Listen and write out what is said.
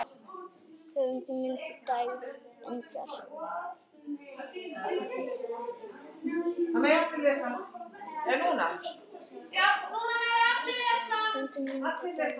Höfundur myndar: David Edgar.